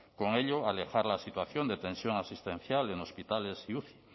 con ello alejar la situación de tensión asistencial en hospitales y uci